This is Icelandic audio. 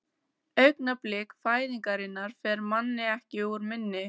Augnablik fæðingarinnar fer manni ekki úr minni.